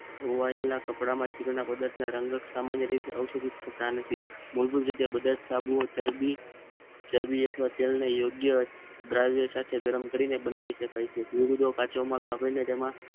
ધોવાયેલા કપડામાં ચીકણા પદાર્થ ના રંગ સામાન્ય રીતે ઔષધિ થતા નથી મૂળભૂત રીતે બધા સાબુઓ ચરબી ચરબી અથવા તેલ ને યોગ્ય દ્રાવ્ય સાથે ગરમ કરીને બનાવી શકાય છે જુદો જુદો કાચો માલ વાપરી ને તેમાં